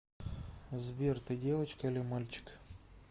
сбер ты девочка или мальчик